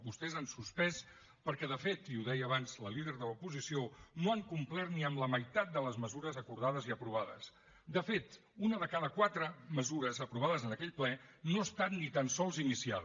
vostès han suspès perquè de fet i ho deia abans la líder de l’oposició no han complert ni amb la meitat de les mesures acordades i aprovades de fet una de cada quatre mesures aprovades en aquell ple no ha estat ni tan sols iniciada